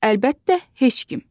Əlbəttə heç kim.